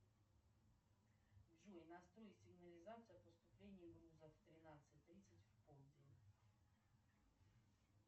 джой настрой сигнализацию поступления грузов тринадцать тридцать в полдень